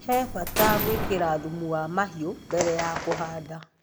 He bata gũĩkĩra thumu wa mahiũ mbere ya kuhada